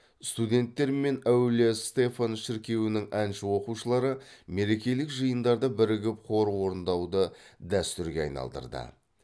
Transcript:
студенттер мен әулие стефан шіркеуінің әнші оқушылары мерекелік жиындарда бірігіп хор орындауды дәстүрге айналдырды